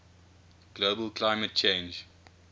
global climate change